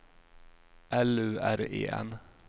L U R E N